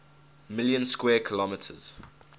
million square kilometers